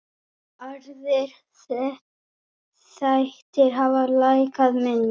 Aðrir þættir hafa lækkað minna.